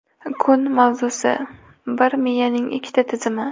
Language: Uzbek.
Kun mavzusi: - Bir miyaning ikkita tizimi.